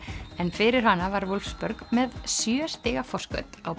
en fyrir hana var með sjö stiga forskot á